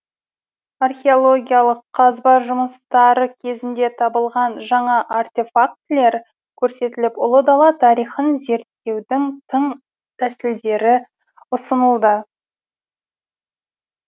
археологиялық қазба жұмыстары кезінде табылған жаңа артефактілер көрсетіліп ұлы дала тарихын зерттеудің тың тәсілдері ұсынылды